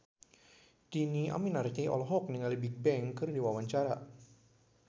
Dhini Aminarti olohok ningali Bigbang keur diwawancara